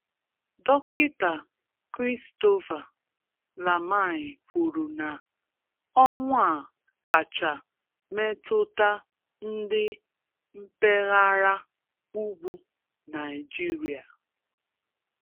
Dọkịta Christopher Lamai kwuru na ọnwụ a kachaa metụta ndị mpaghara ugwu Naịjirịa.